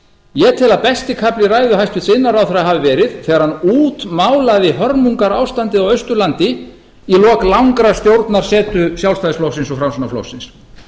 ég tel að besti kafli hæstvirtur iðnaðarráðherra hafi verið þegar hann útmálaði hörmungarástandið á austurlandi í lok langrar stjórnarsetu sjálfstæðisflokksins og framsóknarflokksins